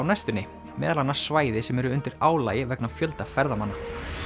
næstunni meðal annars svæði sem eru undir álagi vegna fjölda ferðamanna